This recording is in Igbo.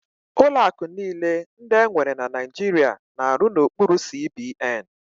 Ụlọ akụ niile ndị enwere na Naijiria na-arụ n'okpuru CBN.